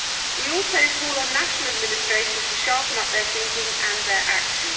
We also call on national administrations to sharpen up their thinking and their action.